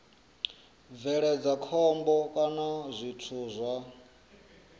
bveledza khombo kana zwithu zwa